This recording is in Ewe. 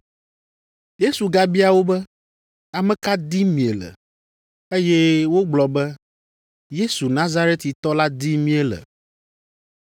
Yesu gabia wo be, “Ame ka dim miele?” Eye wogblɔ be, “Yesu Nazaretitɔ la dim míele.”